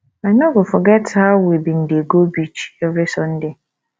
i no go forget how we bin dey go beach every sunday